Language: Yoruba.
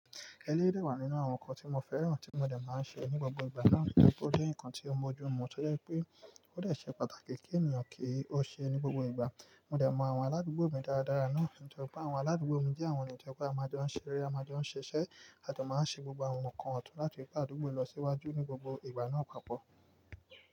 Ẹlẹ́rẹ̀ wà nínú àwọn nǹkan tí mo fẹ́ràn tí mo dẹ̀ máa ń ṣe ní gbogbo ìgbà náà, kí n tó pé ó jẹ́ nǹkan tí ó mójú mu, tọ dẹ́ pé ó dẹ̀ ṣe pàtàkì kí ènìyàn kì í ó ṣe é ní gbogbo ìgbà. Mo dẹ̀ mọ àwọn aládùúgbò mi dáradára náà, kí n tó pé àwọn aládùúgbò mi jẹ́ àwọn ènìyàn tí ẹgbẹ́ àmajọ́ ń ṣeré, àmajọ́ ń ṣiṣẹ́, a tó máa ń ṣe gbogbo àwọn nǹkan ọ̀tún láti gbé àdúgbò yìí lọ síwájú ní gbogbo ìgbà náà papọ̀.